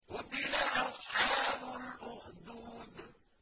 قُتِلَ أَصْحَابُ الْأُخْدُودِ